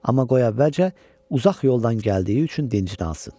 Amma qoy əvvəlcə uzaq yoldan gəldiyi üçün dincdansın.